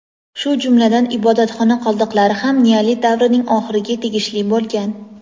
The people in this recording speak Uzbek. shu jumladan ibodatxona qoldiqlari ham neolit davrining oxiriga tegishli bo‘lgan.